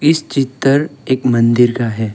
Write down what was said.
इस चित्तर एक मंदिर का है।